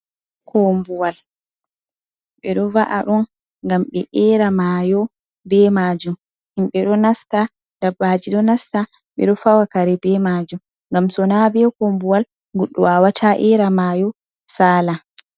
Kombuwal. Ɓe ɗo va’a ɗun ngam ɓe eera maayo be maajum, himɓe ɗo nasta, dabbaaji ɗo nasta, ɓe ɗo fawa kare be maajum, ngam sona be kombuwal goɗɗo wawata eera maayo saala.